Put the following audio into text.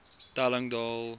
telling daal